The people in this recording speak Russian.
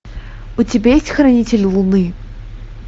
у тебя есть хранитель луны